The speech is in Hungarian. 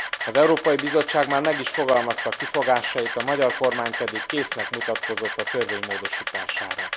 Az Európai Bizottság már meg is fogalmazta kifogásait, a magyar kormány pedig késznek mutatkozott a törvény módosítására.